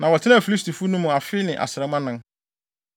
na wɔtenaa Filistifo no mu afe ne asram anan.